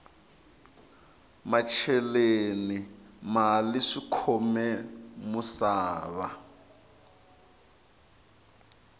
macheleni mali swikhome musava